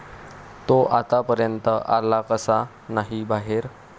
तो आत्तापर्यंत आला कसा नाही बाहेर?